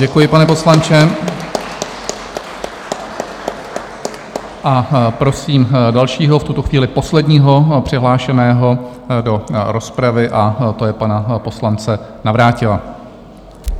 Děkuji, pane poslanče, a prosím dalšího, v tuto chvíli posledního přihlášeného do rozpravy, a to je pan poslanec Navrátil.